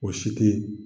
O si te